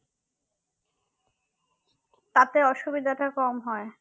তাতে অসুবিধাটা কম হয়